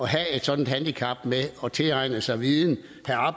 have et sådant handicap med at tilegne sig viden